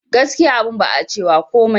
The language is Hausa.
Gaskiya abun ba a cewa komai